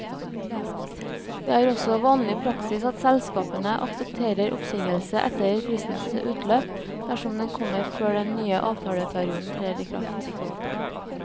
Det er også vanlig praksis at selskapene aksepterer oppsigelse etter fristens utløp, dersom den kommer før den nye avtaleperioden trer i kraft.